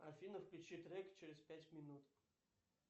афина включи трек через пять минут